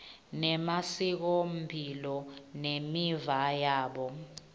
nemasikomphilo nemiva yabo